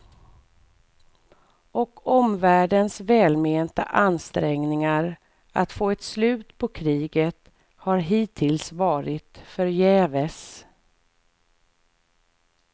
Och omvärldens välmenta ansträngningar att få ett slut på kriget har hittills varit förgäves.